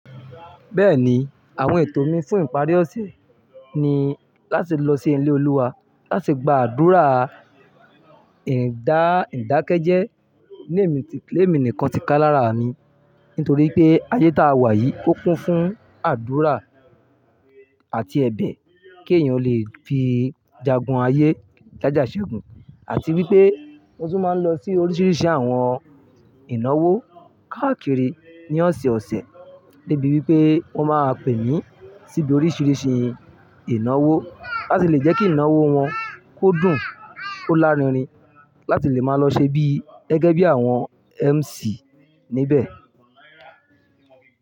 Bẹ́ẹ̀ni, àwọn ètò mi fún ìparí ọ̀sẹ̀ ni láti lọ sí ilé Olúwa láti gba àdúrà ìdákẹ́jẹ́. Lẹ́ mi ti lé mi nìkan ti kálá rà mí nítorí pé ayé tá a wà yìí ó kún fún àdúrà àti ẹ̀bẹ̀ kí èèyàn lè fi jagun ayé jája ṣẹ́gun àti wípé wọn tún máa ń lọ sí oríṣiríṣi àwọn ìnáwó káàkiri ní ọ̀sẹ̀ẹ̀ ọ̀sẹ̀ débi wípé wọn máa pè mí síbi oríṣiríṣi ìnáwó láti lè jẹ́ kí ìnáwó wọn kó dùn ó lárinrin láti lè máa lọ ṣe bí gẹ́gẹ́ bí àwọn MC níbẹ̀.